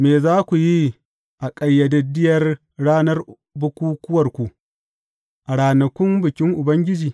Me za ku yi a ƙayyadaddiyar ranar bukukkuwarku, a ranakun bikin Ubangiji?